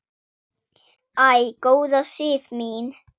Æ, góða Sif mín!